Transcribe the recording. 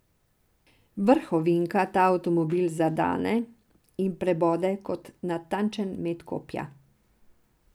Vrh ovinka ta avtomobil zadane in prebode kot natančen met kopja.